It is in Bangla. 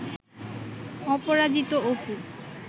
অপরাজিত অপু